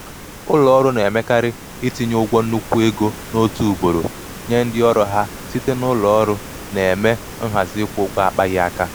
ụlọ ọrụ na-emekarị itinye ụgwọ nnukwu ego n'otu ugboro nye ndị ọrụ ha site na ụlọ ọrụ um na-eme nhazi ịkwụ ụgwọ akpaghị um aka.